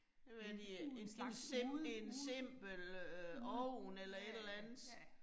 Jeg ved de øh en slags en simpel ovn eller et eller andet